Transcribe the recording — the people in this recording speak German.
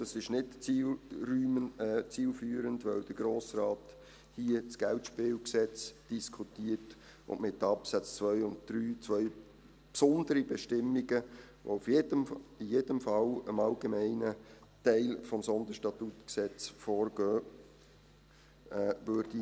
Das ist nicht zielführend, weil der Grosse Rat hier das KGSG diskutiert und mit den Absätzen 2 und 3 zwei besondere Bestimmungen, die in jedem Fall dem allgemeinen Teil des SStG vorgehen würden.